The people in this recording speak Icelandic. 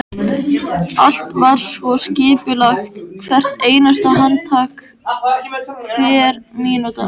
Hann er sendur til dyra að taka á móti aðdáandanum.